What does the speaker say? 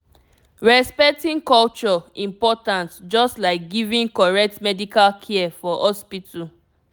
respecting culture important just like giving correct medical care for hospital